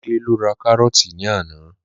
Olúmidé lọ ra kárọ́ọ̀tì ní àná